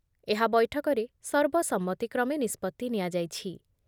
ଏହା ବୈଠକରେ ସର୍ବସମ୍ମତିକ୍ରମେ ନିଷ୍ପତ୍ତି ନିଆଯାଇଛି ।